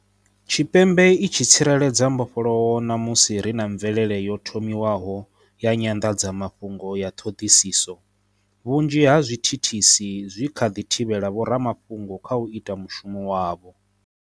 Tshipembe i tshi tsireledza mbofholowo na musi ri na mvelele yo thomiwaho ya nyanḓadzamafhungo ya ṱhoḓisiso, vhunzhi ha zwithi thisi zwi kha ḓi thivhela vhoramafhungo kha u ita mushumo wavho.